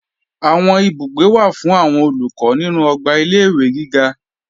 Àwọn ibùgbé wà fún àwọn Olùkọ́ nínú ọgbà ilé-ìwé giga